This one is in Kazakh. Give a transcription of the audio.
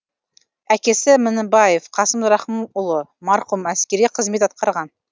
әкесі мінібаев қасым рахымұлы марқұм әскери қызмет атқарған